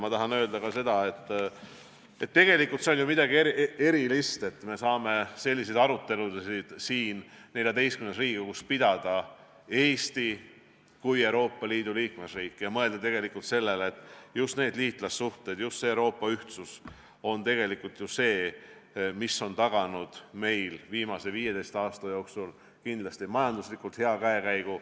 Ma tahan öelda ka seda, et tegelikult on see midagi erilist, et me saame siin XIV Riigikogus pidada selliseid arutelusid – Eesti kui Euroopa Liidu liikmesriik – ja mõelda sellele, et just liitlassuhted, just Euroopa ühtsus on tegelikult see, mis on meile viimase 15 aasta jooksul taganud hea majandusliku käekäigu.